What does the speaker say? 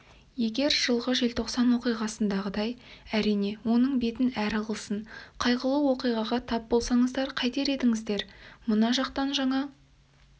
егер жылғы желтоқсан оқиғасындай әрине оның бетін әрі қылсын қайғылы оқиғаға тап болсаңыздар қайтер едіңіздер мына жақтан жаңа